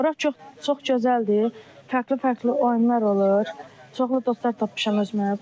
Bura çox gözəldir, fərqli-fərqli oyunlar olur, çoxlu dostlar tapmışam özümə.